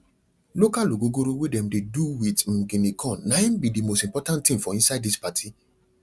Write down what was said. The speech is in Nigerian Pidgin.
local ogogoro wey dem dey do with um guinea corn na im be the most important thing for inside this party